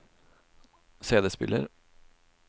CD-spiller